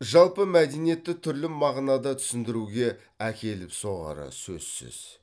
жалпы мәдениетті түрлі мағынада түсіндіруге әкеліп соғары сөзсіз